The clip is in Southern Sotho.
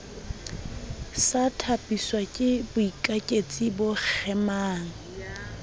sa thapiswake boikaketsi bo kgemang